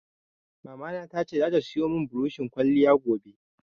Mamana ta ce zata siyo mun buroshin ƙwaliya gobe